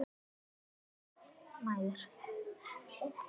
Flestar mæður.